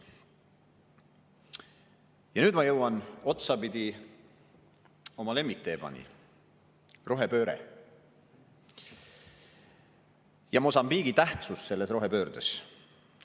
Ja nüüd ma jõuan otsapidi oma lemmikteemani – rohepööre ja Mosambiigi tähtsus selles rohepöördes.